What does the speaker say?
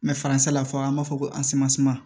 faransi la fɔ an b'a fɔ ko